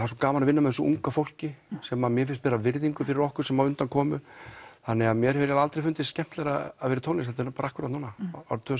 svo gaman að vinna með þessu unga fólki sem að mér finnst bera virðingu fyrir okkur sem á undan komu þannig að mér hefur aldrei fundist skemmtilegra að vera í tónlist heldur en akkurat núna árið tvö